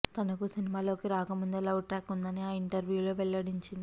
తనకు సినిమాలలోకి రాకముందే లవ్ ట్రాక్ ఉందని ఆ ఇంటర్వ్యూలో వెల్లడించింది